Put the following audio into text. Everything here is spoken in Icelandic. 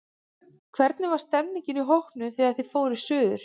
Hvernig var stemningin í hópnum, þegar þið fóruð suður?